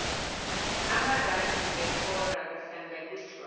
amarandi ngehora kuhlanganiswa